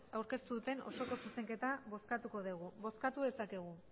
aurkeztu duten osoko zuzenketa bozkatuko degu bozkatu dezakegu